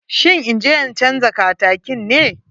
Shin inje in canja katakin ne?